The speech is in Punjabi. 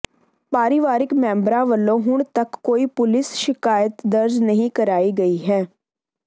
ਪਰਿਵਾਰਕ ਮੈਂਬਰਾਂ ਵੱਲੋਂ ਹੁਣ ਤਕ ਕੋਈ ਪੁਲੀਸ ਸ਼ਿਕਾਇਤ ਦਰਜ ਨਹੀਂ ਕਰਾਈ ਗਈ ਹੈ